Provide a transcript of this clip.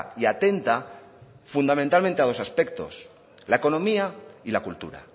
y atenta fundamentalmente a dos aspectos la economía y la cultura